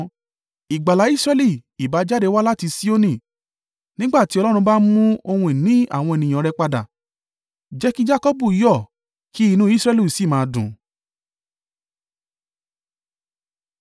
Ìgbàlà Israẹli ìbá jáde wá láti Sioni! Nígbà tí Ọlọ́run bá mú ohun ìní àwọn ènìyàn rẹ̀ padà, jẹ́ kí Jakọbu yọ̀ kí inú Israẹli sì máa dùn!